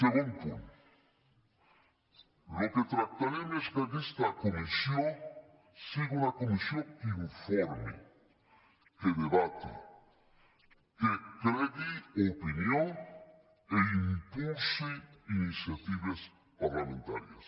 segon punt el que tractarem és que aquesta comissió sigui una comissió que informi que debati que creï opinió i impulsi iniciatives parlamentàries